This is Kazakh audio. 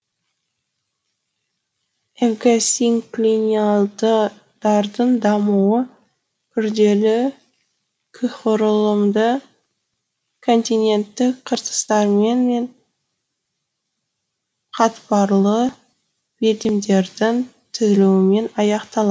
эвгосинклинальдардың дамуы күрделі қүһұрылымды континенттік қыртыстармен мен қатпарлы белдемдердің түзілуімен аяқталады